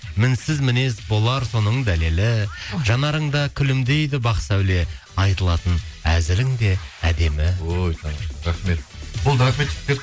мінсіз мінез болар соның дәлелі жанарыңда күлімдейді бақ сәуле айтылатын әзілің де әдемі ой тамаша рахмет болды рахмет жігіттер